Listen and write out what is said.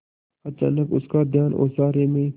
अचानक उसका ध्यान ओसारे में